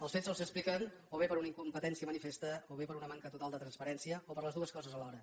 els fets sols s’expliquen o bé per una incompetència manifesta o bé per una manca total de transparència o per les dues coses alhora